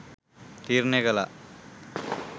තීරණය කළා.